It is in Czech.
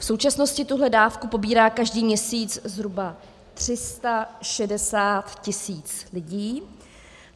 V současnosti tuhle dávku pobírá každý měsíc zhruba 360 000 lidí.